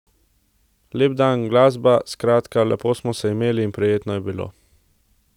Lep dan, glasba, skratka, lepo smo se imeli in prijetno je bilo.